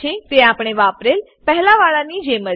તે આપણે વાપરેલ પહેલાવાળાની જેમ જ છે